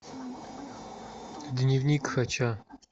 дневник хача